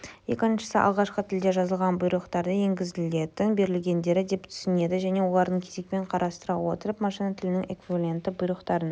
екіншісі алғашқы тілде жазылған бұйрықтарды енгізілетін берілгендер деп түсінетін және оларды кезекпен қарастыра отырып машина тілінің эквивалентті бұйрықтарын